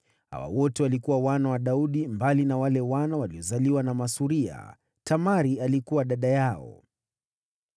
Hawa wote walikuwa wana wa Daudi, mbali na wale wana waliozaliwa na masuria. Naye Tamari alikuwa dada yao.